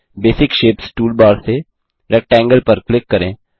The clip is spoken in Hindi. बेसिक शेप्स टूलबार से रेक्टेंगल पर क्लिक करें